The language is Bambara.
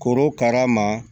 Korokara ma